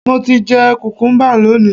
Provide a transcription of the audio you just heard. Mo ti jẹ kùkúḿbà lónìí